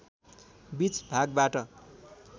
बीच भागबाट